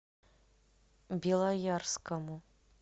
белоярскому